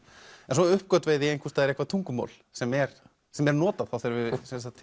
svo uppgötvaði ég einhvers staðar eitthvað tungumál sem er sem er notað þegar við